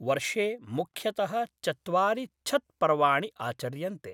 वर्षे मुख्यतः चत्वारि छत्पर्वाणि आचर्यन्ते।